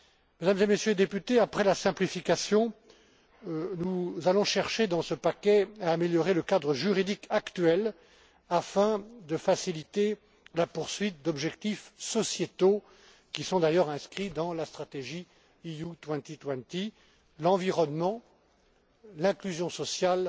Mesdames et Messieurs les députés, après la simplification, nous allons chercher, dans ce paquet, à améliorer le cadre juridique actuel, afin de faciliter la poursuite d'objectifs sociétaux, qui sont d'ailleurs inscrits dans la stratégie Europe 2020 l'environnement, l'inclusion